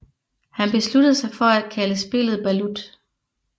Han besluttede sig for at kalde spillet balut